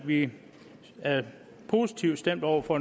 vi er positivt stemt over for